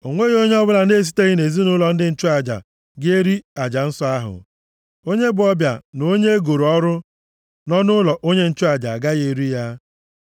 “ ‘O nweghị onye ọbụla na-esiteghị nʼezinaụlọ ndị nchụaja ga-eri aja nsọ ahụ. Onye bụ ọbịa na onye e goro ọrụ nọ nʼụlọ onye nchụaja agaghị eri ya.